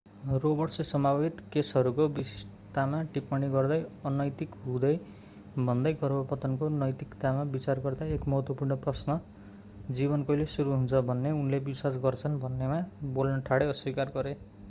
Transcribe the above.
रोबर्ट्सले सम्भावित केसहरूको विशिष्टतामा टिप्पणी गर्न अनैतिक हुने भन्दै गर्भपतनको नैतिकतामा विचार गर्दा एक महत्त्वपूर्ण प्रश्न जीवन कहिले सुरु हुन्छ भन्ने उनले विश्वास गर्छन् भन्नेमा बोल्न ठाडै अस्वीकार गरे